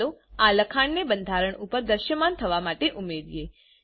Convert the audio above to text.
ચાલો આ લખાણને બંધારણ ઉપર દ્રશ્યમાન થવા માટે ઉમેરીએ